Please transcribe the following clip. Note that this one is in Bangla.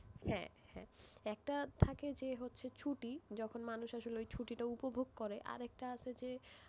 হ্যাঁ হ্যাঁ একটা থাকে যে হচ্ছে ছুটি যখন মানুষ আসলে ওই ছুটি কে উপভোগ করে আরেকটা আছে যে,